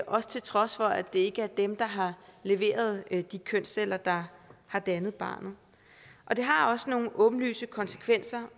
også til trods for at det ikke er dem der har leveret de kønsceller der har dannet barnet det har også nogle åbenlyse konsekvenser